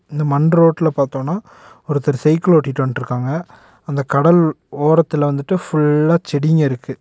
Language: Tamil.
இந்த மண் ரோட்ல பாத்தோனா ஒருத்தர் சைக்கிள் ஓட்டிட்டு வன்ட்ருக்காங்க அந்த கடல் ஓரத்துல வந்துட்டு ஃபுல்லா செடிங்க இருக்கு.